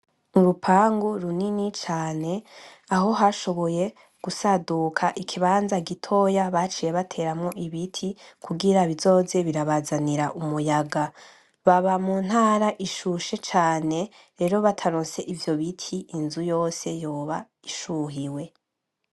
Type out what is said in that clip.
Urupangu runini cane aho hashoboye gusaduka ikibanza gitoya baciye bateramwo ibiti kugira bizoze birabazanira umuyaga. Baba muntara ishushe cane rero bataronse ivyo biti inzu yose yoba ishuhiwe.